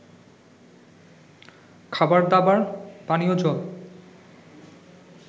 খাবারদাবার, পানীয় জল